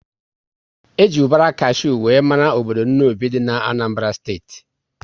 E ji ubara kashew wéré mara obodo Nnobi dị n'Anambara steeti